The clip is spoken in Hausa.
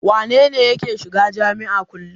Wane ne yake shiga jami'a kullum?